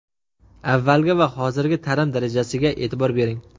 Avvalgi va hozirgi ta’lim darajasiga e’tibor bering.